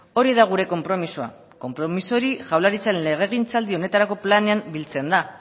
hori da gure konpromisoa konpromiso hori jaurlaritzaren legegintzaldi honetarako planean biltzen da